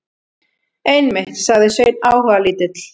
Einmitt, sagði Sveinn áhugalítill.